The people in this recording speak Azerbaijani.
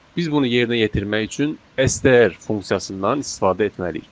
Biz bunu yerinə yetirmək üçün STR funksiyasından istifadə etməliyik.